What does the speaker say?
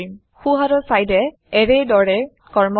সোঁহাতৰ চাইদে এৰে দৰে কৰ্ম কৰে